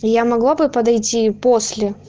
я могла бы подойти после